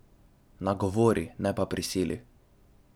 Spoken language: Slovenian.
Nagovori, ne pa prisili.